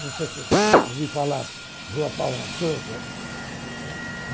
Não sei se ouvi falar Rua Paula Sousa. Uhum